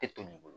E to de bolo